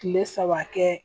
Kile saba kɛ